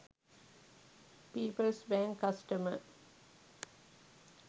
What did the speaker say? peoples bank customer